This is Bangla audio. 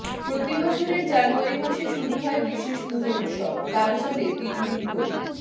প্রতি বছরের জানুয়ারি মাসে শুরু হয় বিশেষ পুজো উৎসব তা চলে তিনদিন ধরে